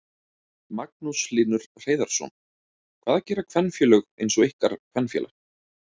Magnús Hlynur Hreiðarsson: Hvað gera kvenfélög eins og ykkar kvenfélag?